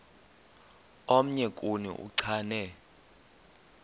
omnye kuni uchane